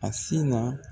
A si na